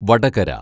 Vadakara